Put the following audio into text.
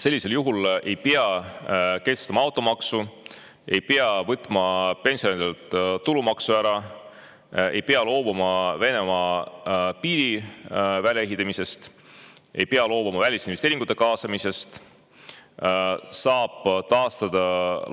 Sellisel juhul ei pea kehtestama automaksu, ei pea võtma pensionäridelt tulumaksu ära, ei pea loobuma Venemaa piiri väljaehitamisest, ei pea loobuma välisinvesteeringute kaasamisest, saab taastada